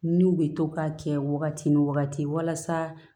N'u bɛ to ka kɛ wagati ni wagati walasa